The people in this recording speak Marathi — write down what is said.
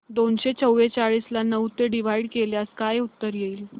दोनशे चौवेचाळीस ला नऊ ने डिवाईड केल्यास काय उत्तर येईल